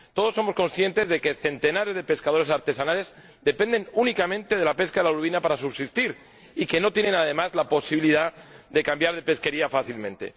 Todos somos conscientes de que centenares de pescadores artesanales dependen únicamente de la pesca de la lubina para subsistir y de que no tienen, además, la posibilidad de cambiar de pesquería fácilmente.